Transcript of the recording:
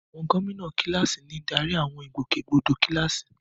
Àwọn gómìnà kíláàsì ń darí àwọn ìgbòkègbodò kíláàsì.